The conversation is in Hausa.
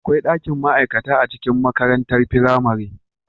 Akwai dakin ma'aikata a cikin makarantar firamare